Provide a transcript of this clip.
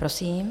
Prosím.